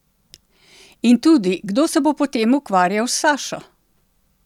In tudi, kdo se bo potem ukvarjal s Sašo?